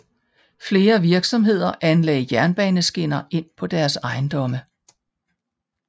Flere virksomheder anlagde jernbaneskinner ind på deres ejendomme